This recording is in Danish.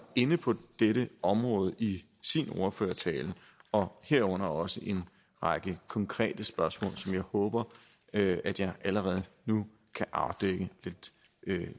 inde på dette område i sin ordførertale og herunder også en række konkrete spørgsmål som jeg håber at jeg allerede nu kan afdække